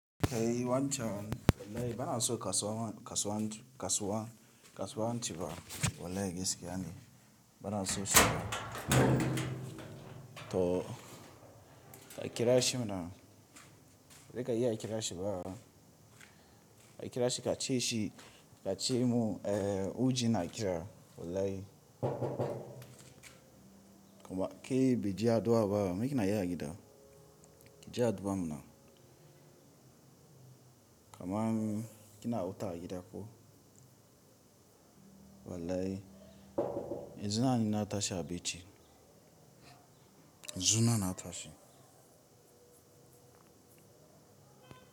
Kai wancan, wallahi ba a so kasuwa, kasuwan, kasuwa, kasuwaanci ba wallahi gaskiya ne. Bana so so. To, akira shi mana. Sai ka iya akira shi ba. Akira shi ka ce shi, ka ce mu, eh, hu ji na kira. Wallahi. Kuma ke bi ji addu'a ba. Me kina yi agida? Ki ji addu'a muna. Kaman kina wu ta agida ko? Wallahi. Yan zunan na tashi a becci. Ya zunan na tashi.